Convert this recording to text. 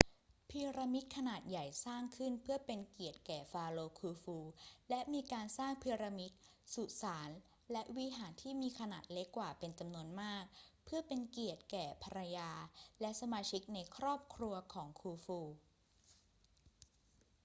พีระมิดขนาดใหญ่สร้างขึ้นเพื่อเป็นเกียรติแก่ฟาโรห์คูฟู และมีการสร้างพีระมิด สุสาน และวิหารที่มีขนาดเล็กกว่าเป็นจำนวนมากเพื่อเป็นเกียรติแก่ภรรยาและสมาชิกในครอบครัวของคูฟู